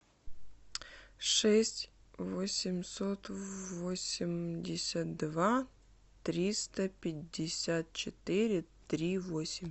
шесть восемьсот восемьдесят два триста пятьдесят четыре три восемь